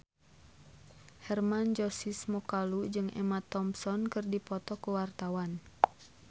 Hermann Josis Mokalu jeung Emma Thompson keur dipoto ku wartawan